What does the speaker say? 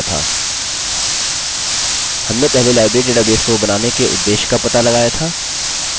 हमने पहले library database को बनाने के उद्देश्य का पता लगाया था